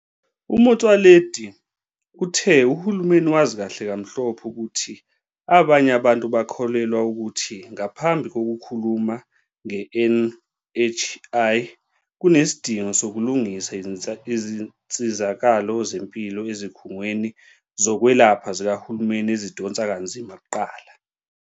UMotsoaledi uthe uhulumeni wazi kahle kamhlophe ukuthi abanye abantu bakholelwa ukuthi ngaphambi kokukhuluma nge-NHI, kunesidingo sokulungisa izinsizakalo zempilo ezikhungweni zokwelapha zikahulumeni ezidonsa kanzima kuqala.